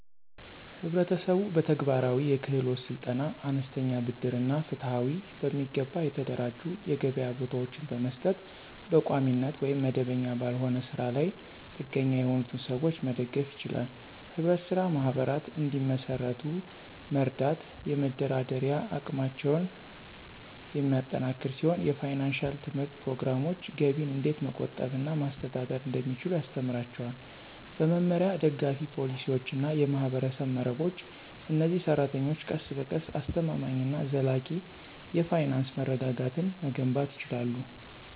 ህብረተሰቡ በተግባራዊ የክህሎት ስልጠና፣ አነስተኛ ብድር እና ፍትሃዊ፣ በሚገባ የተደራጁ የገበያ ቦታዎችን በመስጠት በቋሚነት ወይም መደበኛ ባልሆነ ስራ ላይ ጥገኛ የሆኑትን ሰዎች መደገፍ ይችላል። ህብረት ስራ ማህበራት እንዲመሰርቱ መርዳት የመደራደሪያ አቅማቸውን የሚያጠናክር ሲሆን የፋይናንሺያል ትምህርት ፕሮግራሞች ገቢን እንዴት መቆጠብ እና ማስተዳደር እንደሚችሉ ያስተምራቸዋል። በመመሪያ፣ ደጋፊ ፖሊሲዎች እና የማህበረሰብ መረቦች፣ እነዚህ ሰራተኞች ቀስ በቀስ አስተማማኝ እና ዘላቂ የፋይናንስ መረጋጋትን መገንባት ይችላሉ።